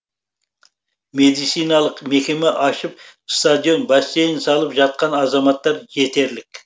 медициналық мекеме ашып стадион бассейн салып жаткан азаматтар жетерлік